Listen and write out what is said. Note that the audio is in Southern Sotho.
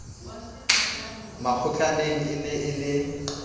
makgotlaneng e ne e le